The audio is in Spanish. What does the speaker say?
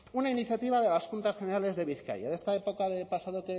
una iniciativa de las juntas generales de bizkaia de esta época del pasado